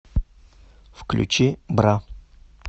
включи бра